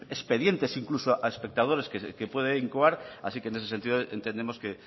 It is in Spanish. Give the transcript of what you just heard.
expedientes incluso a espectadores que puede incoar así que en ese sentido entendemos que